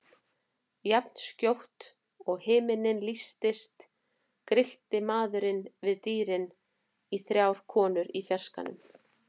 Jafnskjótt og himinninn lýstist grillti maðurinn við dýrin í þrjár konur í fjarskanum.